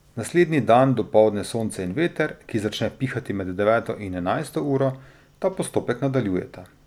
Naslednji dan dopoldne sonce in veter, ki začne pihati med deveto in enajsto uro, ta postopek nadaljujeta.